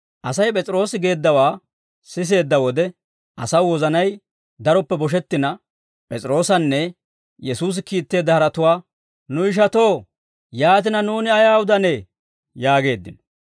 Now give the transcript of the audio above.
Asay P'es'iroosi geeddawaa siseedda wode, asaw wozanay daroppe boshettina, P'es'iroosanne Yesuusi kiitteedda haratuwaa, «Nu ishatoo, yaatina nuuni ayaa udanee?» yaageeddino.